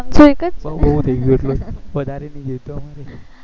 પાંચસો એક જ બસ બહુ થઇ ગયો વધારે નહી જોવતો અમન